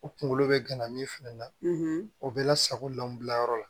U kunkolo bɛ gana min fana na o bɛ la sago lanbila yɔrɔ la